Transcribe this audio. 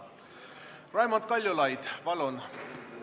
Raimond Kaljulaid, palun!